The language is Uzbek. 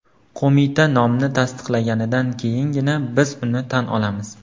Qo‘mita nomni tasdiqlaganidan keyingina biz uni tan olamiz.